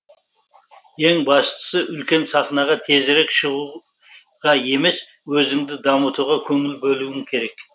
ең бастысы үлкен сахнаға тезірек шығу ға емес өзіңді дамытуға көңіл бөлуің керек